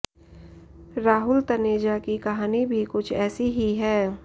राहुल तनेजा की कहानी भी कुछ ऐसी ही है